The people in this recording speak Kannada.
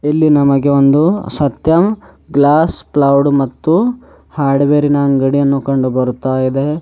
ಇಲ್ಲಿ ನಮಗೆ ಒಂದು ಸತ್ಯಂ ಗ್ಲಾಸ್ ಪ್ಲೈವುಡ್ ಮತ್ತು ಹಾರ್ಡ್ವೇರಿನ ಅಂಗಡಿಯನ್ನು ಕಂಡು ಬರುತ್ತಾ ಇದೆ.